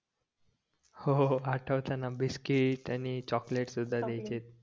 हो हो हो आटवतायना बिस्कीट आणि चाकलेट सुद्धा द्यायचे